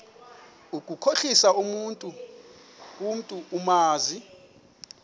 ukukhohlisa umntu omazi